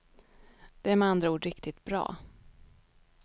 Den är med andra ord riktigt bra.